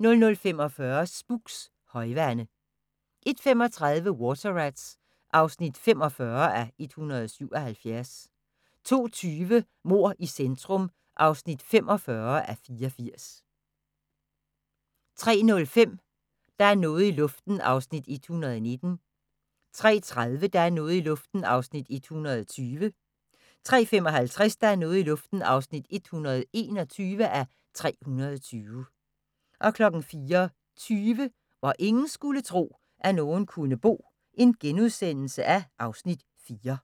00:45: Spooks: Højvande 01:35: Water Rats (45:177) 02:20: Mord i centrum (45:84) 03:05: Der er noget i luften (119:320) 03:30: Der er noget i luften (120:320) 03:55: Der er noget i luften (121:320) 04:20: Hvor ingen skulle tro, at nogen kunne bo (Afs. 4)*